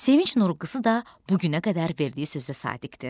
Sevinc Nurqızı da bu günə qədər verdiyi sözə sadiqdir.